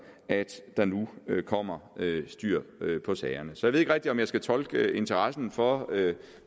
at der nu kommer styr på sagerne så jeg ved ikke rigtig om jeg skal tolke interessen for